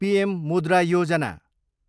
PM Mudra Yojana